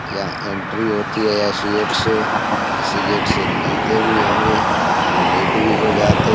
यहँ entry होती है यसी गेट से। इसी गेट से निकलते भी होंगे टू लेट भी हो जाते --